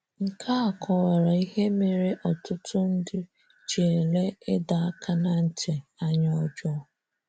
Nkea kọwara ihe mere ọtụtụ ndị ji élé ịdọ aka ná ntị anya ọjọọ.